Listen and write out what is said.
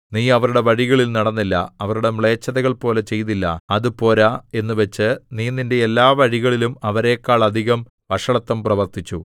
നീ അവരുടെ വഴികളിൽ നടന്നില്ല അവരുടെ മ്ലേച്ഛതകൾപോലെ ചെയ്തില്ല അത് പോരാ എന്നുവച്ച് നീ നിന്റെ എല്ലാ വഴികളിലും അവരെക്കാൾ അധികം വഷളത്വം പ്രവർത്തിച്ചു